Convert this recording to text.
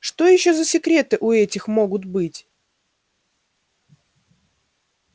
что ещё за секреты у этих могут быть